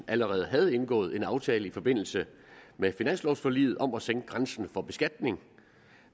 allerede havde indgået en aftale i forbindelse med finanslovforliget om at sænke grænsen for beskatning